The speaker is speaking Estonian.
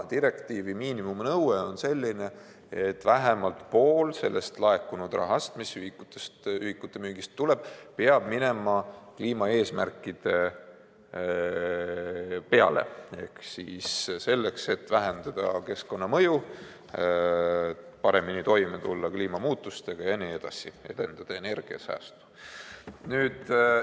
Direktiivi miinimumnõue on selline, et vähemalt pool laekunud rahast, mis ühikute müügist tuleb, peab minema kliimaeesmärkide peale ehk siis selleks, et vähendada keskkonnamõju, tulla paremini toime kliimamuutustega, edendada energiasäästu jne.